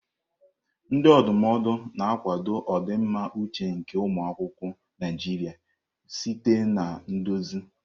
Ndị ndụmọdụ na-akwado ọdịmma uche nke ụmụ akwụkwọ Naijiria site na nduzi.